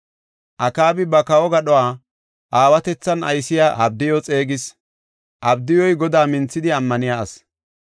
Akaabi ba kawo gadhuwa aawatethan aysiya Abdiyu xeegis. Abdiyuy Godaa minthidi ammaniya asi.